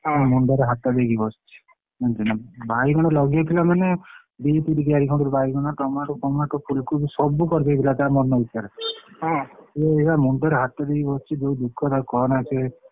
ସେ ମୁଣ୍ଡ ରେ ହାତ ଦେଇ ବସିଛି ଉଁ ବାଇଗଣ ଲଗେଇଥିଲା ମାନେ ଦି ତିନି କିଆରି ଖଣ୍ଡ ବାଇଗଣ tomato ଫମାଟୋ ଫୁଲକୋବି ସବୁ କରିଦେଇଥିଲା ତା ମନଇଚ୍ଛା ସିଏ ଏଇନା ମୁଣ୍ଡରେ ହାତ ଦେଇ ବସିଛି ଯୋଉ ଦୁଖ ତାର କହନା ସେ ।